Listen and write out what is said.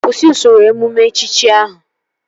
Kwụsị usoro emume echichi ahụ!